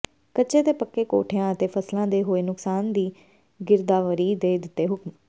ਕੱਚੇ ਤੇ ਪੱਕੇ ਕੋਠਿਆਂ ਅਤੇ ਫਸਲਾਂ ਦੇ ਹੋਏ ਨੁਕਸਾਨ ਦੀ ਗਿਰਦਾਵਰੀ ਦੇ ਦਿੱਤੇ ਹੁਕਮ